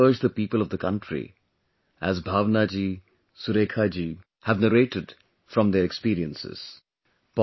I will also urge the people of the country, as Bhavna Ji, Surekha ji, have narrated from their experiences